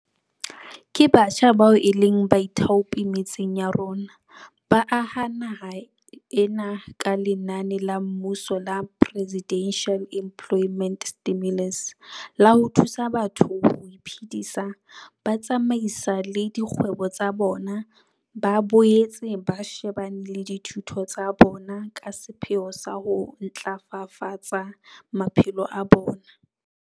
Ke batjha bao e leng baithaopi metseng ya rona, ba aha naha ena ka lenaneo la mmuso la Presidential Employment Stimulus la ho thusa batho ho iphedisa, ba tsamaisale dikgwebo tsa bona, ba boetse ba shebane le dithuto tsa bona ka sepheo sa ho ntlafafatsa maphelo a bona.